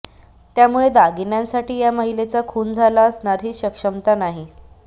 त्यामुळे दागिन्यांसाठी या महिलेचा खून झाला असणार ही शक्मयता नाही